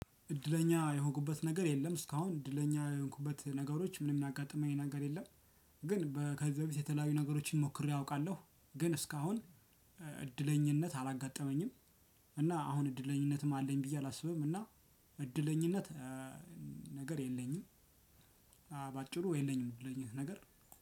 እድለኛ የሆኩበት ነገር የለም እስካሁን እድለኛ የሆንኩበት ነገሮች ምንም ያጋጥመኝ ነገር የለም። ግን በከዚያ በፊት የተለያዩ ነገሮችን ሞክሬ አውቃለሁ ግን እስካሁን እድለኝነት አላጋጠመኝም። እና አሁን እድለኝነትም አለኝ ብዬ አላስብም እና እድለኝነት ነገር የለኝም። በአጭሩ የለኝም እድለኝነት ነገር